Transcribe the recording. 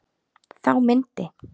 Þá myndi